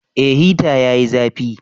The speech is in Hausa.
Eh hita yayi zafi